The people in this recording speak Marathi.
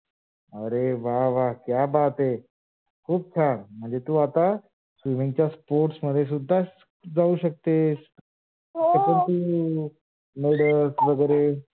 अरे वा वा क्या बात है! खूप छान म्हणजे तू आता swimming च्या sports मध्ये सुद्धा जाऊ शकतेस, हो ते पण तू medals वैगेरे